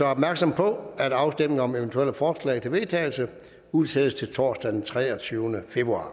opmærksom på at afstemning om eventuelle forslag til vedtagelse udsættes til torsdag den treogtyvende februar